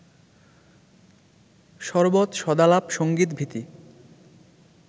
সরবৎ সদালাপ সংগীত-ভীতি